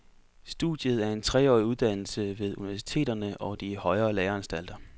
Studiet, er en treårig uddannelse ved universiteterne og de højere læreanstalter.